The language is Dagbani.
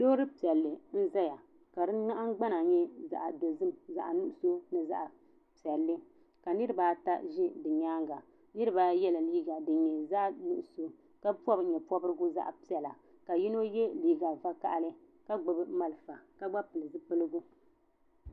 Loori piɛlli n zaya ka di naɣingbana nyɛ zaɣa dozim zaɣa nuɣuso ni zaɣa piɛlli niriba ata ʒi bɛ nyaanga niriba ayi yela liiga dinyɛ zaɣa nuɣuso ka pobi nyeporigu zaɣa piɛla ka yino ye liiga vakahali ka gbibi malifa ka gba pili zipiligu.